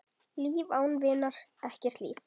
Líf án vinar, ekkert líf.